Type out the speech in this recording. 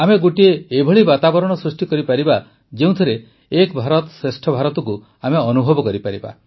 ଆମେ ଗୋଟିଏ ଏଭଳି ବାତାବରଣ ସୃଷ୍ଟି କରିପାରିବା ଯେଉଁଥିରେ ଏକ ଭାରତ ଶ୍ରେଷ୍ଠ ଭାରତକୁ ଆମେ ଅନୁଭବ କରିପାରିବା